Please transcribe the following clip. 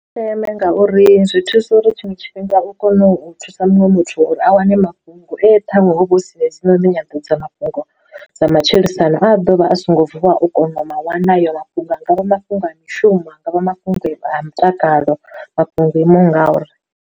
Ndeme ngauri zwi thusa uri tshiṅwe tshifhinga u kono u thusa muṅwe muthu uri a wane mafhungo e ṱhaṅwe huvha hu sina hedzinoni nyanḓadza mafhungo dza matshilisano a dovha a songo vuwa u kono u ma wana hayo mafhungo, a nga vha mafhungo a mishumo a nga vha mafhungo a mutakalo, mafhungo o imaho ngauri.